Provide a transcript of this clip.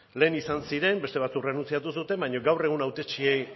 lehen izan ziren beste batzuk errenuntziatu zuten baina gaur egun hautetsi